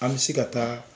An bɛ se ka taa